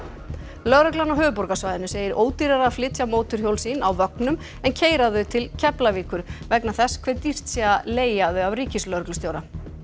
lögreglan á höfuðborgarsvæðinu segir ódýrara að flytja mótorhjól sín á vögnum en keyra þau til Keflavíkur vegna þess hve dýrt sé að leigja þau af ríkislögreglustjóra